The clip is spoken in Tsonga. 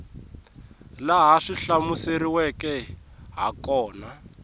laha swi hlamuseriweke ha kona